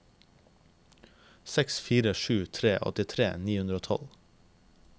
seks fire sju tre åttitre ni hundre og tolv